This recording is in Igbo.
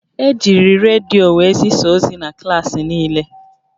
Ejiri redio were zisaa ozi na klaasị niile